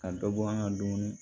Ka dɔ bɔ an ka dumuni